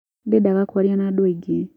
ndendaga kwaria na andu aingĩ